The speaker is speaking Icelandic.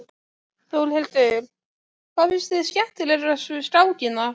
Þórhildur: Hvað finnst þér skemmtilegast við skákina?